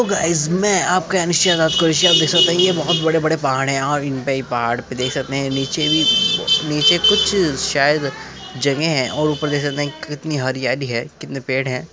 Guys में आपका रात का दृश्य में देख सकते हैं। ये बोहोत बड़े- बडे पहाड़ है और इनपे ही पहाड़ पे देख सकते हैं नीचे भी नीचे कुछ शायद जगह है और ऊपर देख सकते हैं कि कितनी हरियाली है कितने पेड़ हैं |